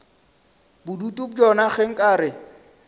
bodutu bjona ge nka re